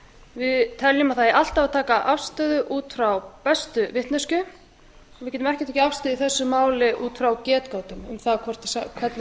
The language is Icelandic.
við teljum að það eigi alltaf að taka afstöðu út frá bestu vitneskju við getum ekki tekið afstöðu í þessu máli út frá getgátum um það hvernig